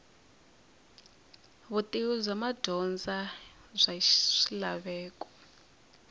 vutivi bya madyondza bya swilaveko